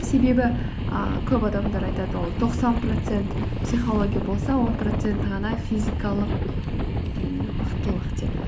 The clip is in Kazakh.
себебі ііі көп адамдар айтады ол тоқсан процент психология болса он проценті ғана физикалық жаңағы мықтылық деп